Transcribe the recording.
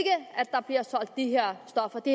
der bliver solgt de her